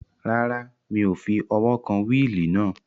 Rárá, mi ò fi ọwọ́ kan wíìlì náà